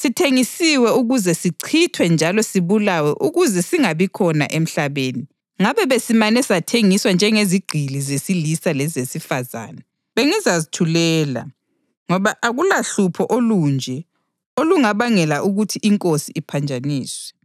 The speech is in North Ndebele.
sithengisiwe ukuze sichithwe njalo sibulawe ukuze singabikhona emhlabeni. Ngabe besimane sathengiswa njengezigqili zesilisa lezesifazane, bengizazithulela, ngoba akulahlupho olunje olungabangela ukuthi inkosi iphanjaniswe.”